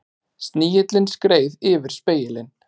Snigillinn skreið yfir spegilinn.